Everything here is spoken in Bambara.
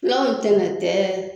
Fulaw ntɛnan tɛ